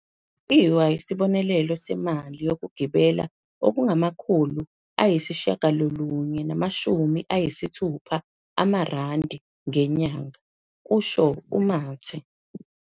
.lwa isibonelelo semali yokugibela okungama-960 amarandi ngenyanga," kusho uMathe.